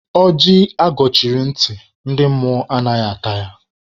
Ọjị agọchiri ntị, ndị mmụọ anaghị ata ya.